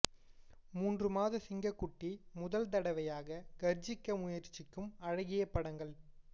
மூன்று மாத சிங்கக்குட்டி முதல் தடவையாக கர்ஜிக்க முயற்சிக்கும் அழகிய படங்கள்